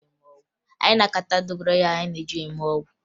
Anyị na-akata dogoyaro anyị ga-eji mee ọgwụ